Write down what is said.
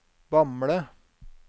Bamble